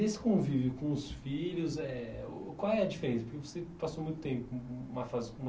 E desse convívio com os filhos eh o, qual é a diferença? Porque você passou muito tempo, um uma fase com